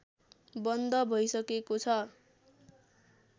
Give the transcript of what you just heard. बन्द भैसकेको छ